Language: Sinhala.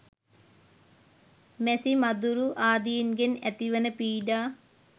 මැසි, මදුරු ආදීන්ගෙන් ඇති වන පීඩා